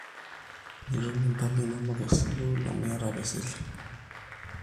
mitum impalai inono amu iyata apa esile esukuul